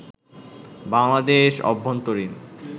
বাংলাদেশ অভ্যন্তরীন